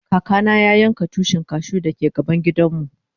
Kaka na ya yanka Tushin cashew da ke gaban gidan mu.